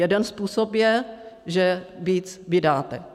Jeden způsob je, že víc vydáte.